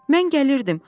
Mən gəlirdim.